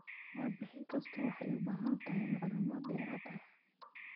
Warbixin kastaa waxay u baahan tahay macluumaad dheeraad ah.